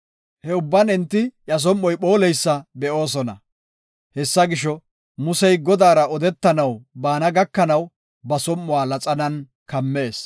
He ubban enti iya som7oy phooleysa be7oosona. Hessa gisho, Musey Godaara odetanaw baana gakanaw, ba som7uwa laxanan kammees.